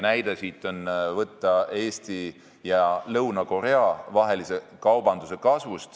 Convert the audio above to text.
Näide siin on ka Eesti ja Lõuna-Korea vahelise kaubavahetuse kasv.